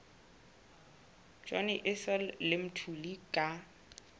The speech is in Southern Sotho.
johnny issel le mthuli ka